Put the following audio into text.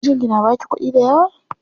Mijinki na baki kuɗi dayawa?